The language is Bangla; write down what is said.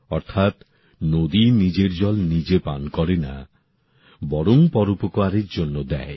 অর্থাৎ নদী নিজের জল নিজে পান করে না বরং পরোপকারের জন্য দেয়